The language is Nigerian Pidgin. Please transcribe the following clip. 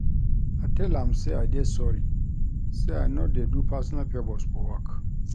I tell am sey I dey sorry, sey I no dey do personal fovours for work.